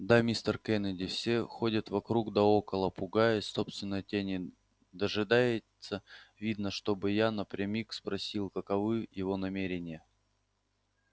да мистер кеннеди все ходит вокруг да около пугаясь собственной тени дожидается видно чтобы я напрямик спросил каковы его намерения